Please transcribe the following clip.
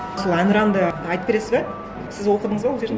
сол әнұранды айтып бересіз бе сіз оқыдыңыз ба ол жерін